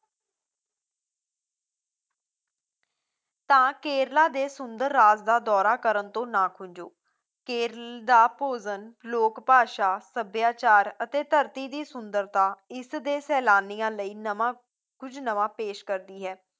ਤਾਂ ਕੇਰਲਾ ਦੇ ਸੁੰਦਰ ਰਾਜ ਦਾ ਦੌਰਾ ਕਰਨ ਤੋਂ ਨਾ ਖੂੰਜੋ, ਕੇਰਲ ਦਾ ਭੋਜਨ, ਲੋਕਭਾਸ਼ਾ, ਸਭਿਆਚਾਰ ਅਤੇ ਧਰਤੀ ਦੀ ਸੁੰਦਰਤਾ ਇਸ ਦੇ ਸੈਲਾਨੀਆਂ ਲਈ ਨਵਾਂ ਕੁੱਝ ਨਵਾਂ ਪੇਸ਼ ਕਰਦੀ ਹੈ